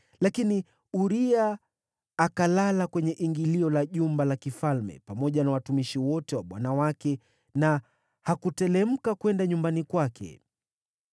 Lakini Uria akalala kwenye ingilio la jumba la kifalme pamoja na watumishi wote wa bwana wake, na hakuteremka kwenda nyumbani kwake.